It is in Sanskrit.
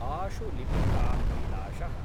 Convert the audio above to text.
आशुलिपिकाकैलाशः